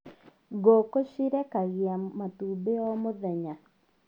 Ngũkũ cĩrekagĩa matumbi o mũthenya